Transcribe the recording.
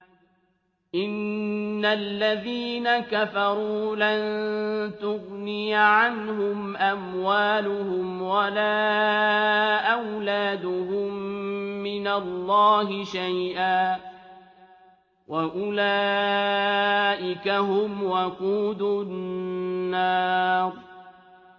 إِنَّ الَّذِينَ كَفَرُوا لَن تُغْنِيَ عَنْهُمْ أَمْوَالُهُمْ وَلَا أَوْلَادُهُم مِّنَ اللَّهِ شَيْئًا ۖ وَأُولَٰئِكَ هُمْ وَقُودُ النَّارِ